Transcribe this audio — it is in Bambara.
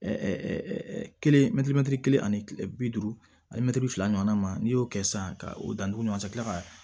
kelen kelen ani kile bi duuru ani mɛtiri fila ɲɔgɔnna ma n'i y'o kɛ sisan ka o dantugu ɲɔgɔn ka kila ka